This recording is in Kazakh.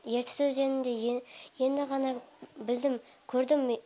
ертіс өзенін де енді ғана білдім көрдім